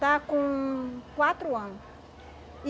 Está com quatro ano.